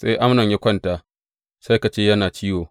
Sai Amnon ya kwanta sai ka ce yana ciwo.